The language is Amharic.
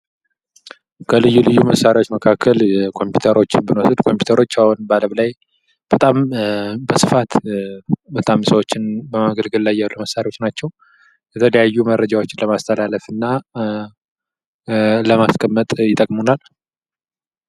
ከልዩ ልዩ መሳሪያዎች መካከል ኮምፒውተሮችን ብንወስድ ኮምፒዩተሮች አሁን በአለም ላይ በጣም በስፋት በጣም ሰዎችን በማገልገል ላይ ያሉ መሳሪያዎች ናቸው ። የተለያዩ መረጃዎችን ለማስተላለፍ እና ለማስቀመጥ ይጠቅሙናል ።